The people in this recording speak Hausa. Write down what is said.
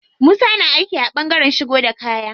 Musa na aiki a ɓangaren shigo da kaya.